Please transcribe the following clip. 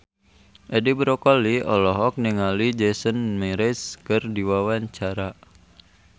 Edi Brokoli olohok ningali Jason Mraz keur diwawancara